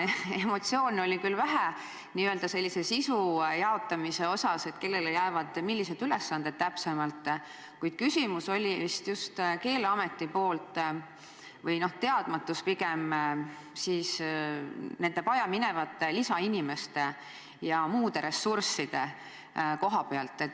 Emotsioone oli küll vähe, n-ö sisu jaotamise mõttes, et kellele millised ülesanded täpsemalt jäävad, kuid küsimus või teadmatus oli pigem Keeleametil, eelkõige vajaminevate lisainimeste ja muude ressursside koha pealt.